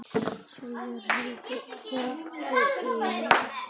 Svíar héldu í